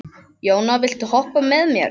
Jóna, viltu hoppa með mér?